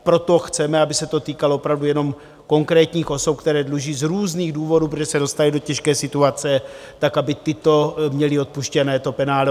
Proto chceme, aby se to týkalo opravdu jenom konkrétních osob, které dluží z různých důvodů, protože se dostaly do těžké situace, tak, aby tyto měly odpuštěné to penále.